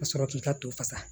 Ka sɔrɔ k'i ka to fasa